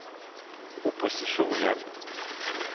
opposisjonen